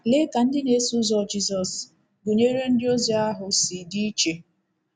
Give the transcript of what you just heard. Lee ka ndị na-eso ụzọ Jizọs, gụnyere ndịozi ahụ, si dị iche!